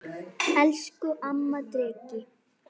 Elsku amma Dreki.